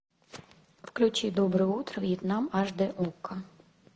включи доброе утро вьетнам аш дэ окко